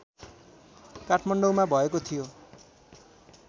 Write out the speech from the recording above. काठमाडौँमा भएको थियो